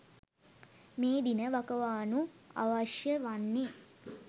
මේ දින වකවානු අවශ්‍ය වන්නේ